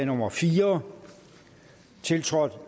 nummer fire tiltrådt